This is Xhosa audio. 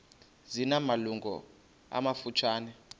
zina malungu amafutshane